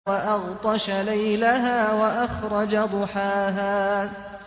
وَأَغْطَشَ لَيْلَهَا وَأَخْرَجَ ضُحَاهَا